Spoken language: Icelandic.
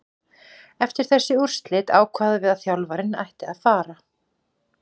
Eftir þessi úrslit ákváðum við að þjálfarinn ætti að fara,